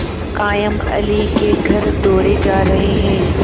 कायमअली के घर दौड़े जा रहे हैं